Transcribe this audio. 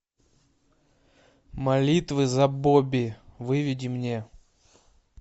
молитвы за бобби выведи мне